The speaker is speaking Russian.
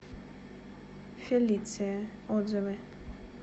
фелиция отзывы